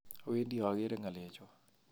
Owedi okere ngalechon